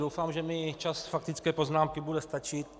Doufám, že mi čas faktické poznámky bude stačit.